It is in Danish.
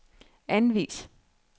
anvis